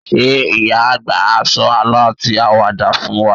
Ṣé ìyá-àgbà á sọ àlọ́ àti àwàdà fún wa?